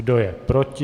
Kdo je proti?